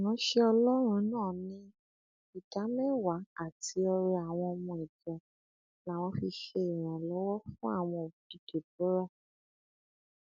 ìránṣẹ ọlọrun náà ní ìdámẹwàá àti ọrẹ àwọn ọmọ ìjọ làwọn fi ṣe ìrànlọwọ fún àwọn òbí deborah